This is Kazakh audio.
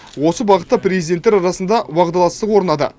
осы бағытта президенттер арасында уағдаластық орнады